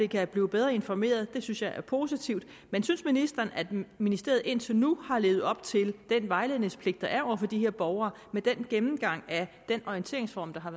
kan blive bedre informeret og det synes jeg er positivt men synes ministeren at ministeriet indtil nu har levet op til den vejledningspligt der er over for de her borgere med den gennemgang af den orienteringsform der har